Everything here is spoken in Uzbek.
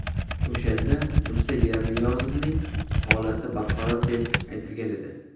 O‘shanda Musa Yerniyazovning holati barqaror, deb aytilgan edi.